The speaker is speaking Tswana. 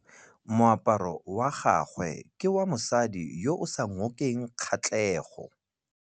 Moaparô wa gagwe ke wa mosadi yo o sa ngôkeng kgatlhegô.